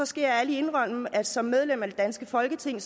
skal jeg ærligt indrømme at jeg som medlem af det danske folketing